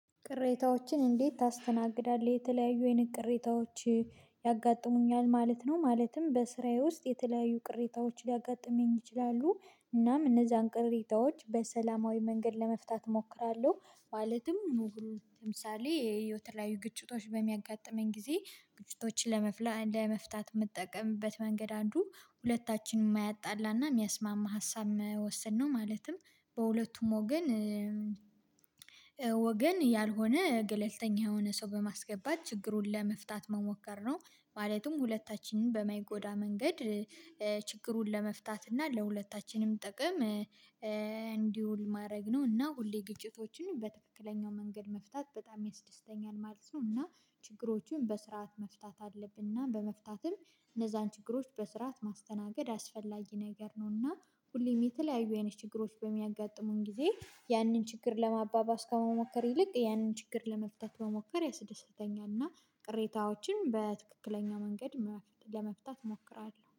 ቅሬታዎችን እንዴት ታስተናግዳለህ የተለያዩ አይነት ቅሬታዎች ያጋጥሙኛል ማለት ነው ማለትም በስራዬ ውስጥ የተለያዩ ቅሬታዎች ሊያጋጥመኝ ይችላሉ እናም እነዛን ቅሬታዎች በሰላማዊ መንገድ ለመፍታት እሞክራለሁ ማለትም ምኑግሩን ለምሳሌ የተለያዩ ግጭቶች በሚያጋጥመኝ ጊዜ ግጭቶችን ለመፍታት የምጠቀምበት መንገድ አንዱ ሁለታችንም ማያጣላና የሚያስማማ ሀሳብ መወሰን ነው ማለትም በሁለቱም ወገን ወገን ያልሆነ ገለልተኛ የሆነ ሰው በማስገባት ችግሩን ለመፍታት መሞከር ነው ማለትም ሁለታችንም በማይጎዳ መንገድ ችግሩን ለመፍታት እና ለሁለታችንም ጥቅም እንዲውል ማድረግ ነው እና ሁሌ ግጭቶችን በትክክለኛው መንገድ መፍታት በጣም ያስደስተኛል ማለት ነው እና ችግሮቹን በስርዓት መፍታት አለብንና በመፍታትም እነዛን ችግሮች በስርዓት ማስተናገድ አስፈላጊ ነገር ነውና ሁሌም የተለያዩ አይነት ችግሮች በሚያጋጥሙን ጊዜ ያንን ችግር ለማባባስ ከመሞከር ይልቅ ያንን ችግር ለመፍታት መሞከር ያስደስተኛል እና ቅሬታዎችን በትክክለኛው መንገድ ለመፍታት እሞክራለሁ።